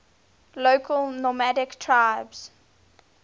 local nomadic tribes